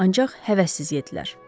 Ancaq həvəssiz yeddilər.